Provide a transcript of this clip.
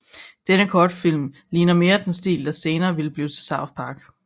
Denne kortfilm ligner mere den stil der senere ville blive til South Park